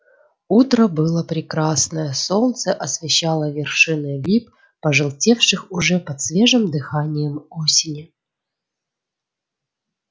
утро было прекрасное солнце освещало вершины лип пожелтевших уже под свежим дыханием осени